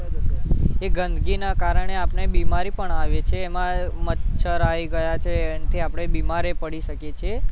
એ ગંદકીના કારણે આપણે બીમારી પણ આવે છે એમાં મચ્છર આવી ગયા છે એનાથી આપણે બીમાર ય પડી શકીએ છીએ